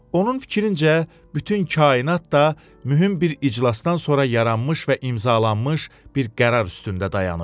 Onun fikrincə, bütün kainat da mühüm bir iclasdan sonra yaranmış və imzalanmış bir qərar üstündə dayanır.